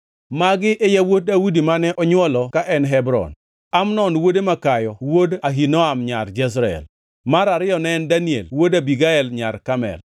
Magi e yawuot Daudi mane onywolo ka en Hebron: Amnon wuode makayo wuod Ahinoam nyar Jezreel, mar ariyo ne en Daniel wuod Abigael nyar Karmel;